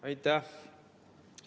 Aitäh!